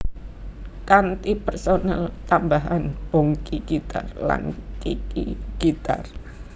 Kanthi personel tambahan Bongky gitar lan Kiki gitar